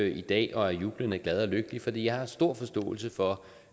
i dag og er jublende glad og lykkelig for jeg har stor forståelse for